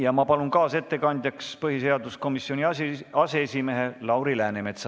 Ma palun kaasettekandjaks põhiseaduskomisjoni aseesimehe Lauri Läänemetsa.